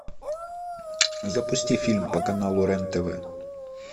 запусти фильм по каналу рен тв